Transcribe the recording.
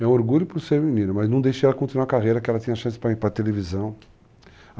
É um orgulho para o ser menina, mas não deixei ela continuar a carreira, que ela tem a chance para ir para a televisão.